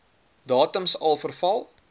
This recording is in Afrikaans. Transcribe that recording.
datums al verval